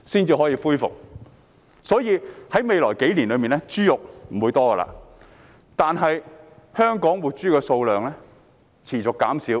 豬肉供應在未來數年不會多，而香港活豬數量亦持續減少。